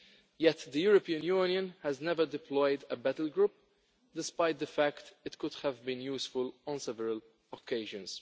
Yet the European Union has never deployed a battle group, despite the fact that it could have been useful on several occasions.